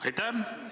Aitäh!